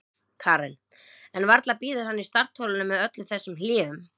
Karen: En varla bíður hann í startholunum með öllum þessum hléum?